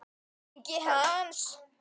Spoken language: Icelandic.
Ingi Hans.